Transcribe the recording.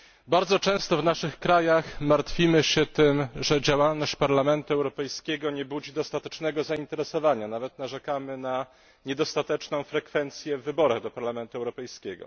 Bardzo często w naszych krajach martwimy się tym, że działalność Parlamentu Europejskiego nie budzi dostatecznego zainteresowania, nawet narzekamy na niedostateczną frekwencję w wyborach do Parlamentu Europejskiego.